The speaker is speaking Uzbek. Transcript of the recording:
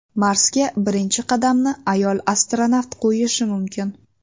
Marsga birinchi qadamni ayol astronavt qo‘yishi mumkin.